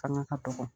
Fanga ka dɔgɔ